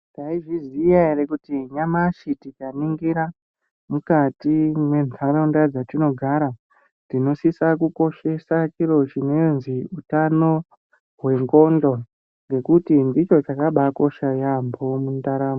Maizviziya ere, kuti nyamashi tikaningira mukati mwenharaunda dzatinogara tinosisa kukoshesa chiro chinonzi hutano hwendxondo. Ngekuti ndicho chakabakosha yaambo mundaramo.